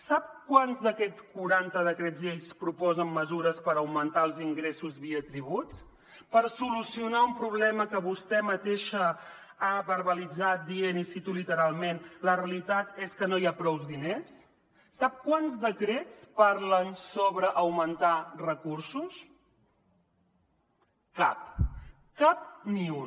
sap quants d’aquests quaranta decrets llei proposen mesures per augmentar els ingressos via tributs per solucionar un problema que vostè mateixa ha verbalitzat dient i ho cito literalment la realitat és que no hi ha prous diners sap quants decrets parlen sobre augmentar recursos cap cap ni un